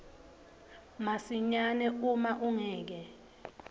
masinyane uma ungeke